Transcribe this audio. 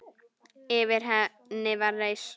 Yfir henni var reisn.